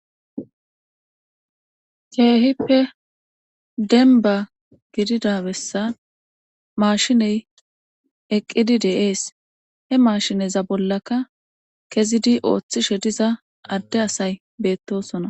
Keehippe denba gidida bessa mashiney eqqidi de7ees he maashineza bollaka kezidi ooththishe diza adde asay beettosona